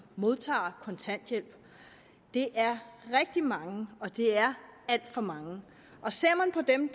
modtager kontanthjælp det er rigtig mange og det er alt for mange ser man på dem